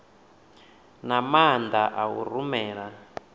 na maana a u rumela